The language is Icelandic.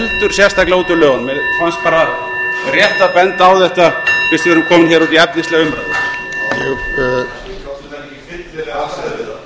sérstaklega út úr lögunum mér fannst bara rétt að benda á þetta fyrst við erum komin hér út í efnislega umræðu forseti vill biðja hæstvirtan ráðherra um að gæta tímamarka